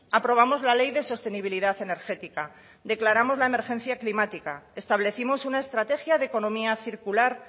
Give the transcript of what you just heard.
aprobamos la ley de sostenibilidad energética declaramos la emergencia climática establecimos una estrategia de economía circular